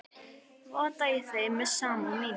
Votta ég þeim samúð mína.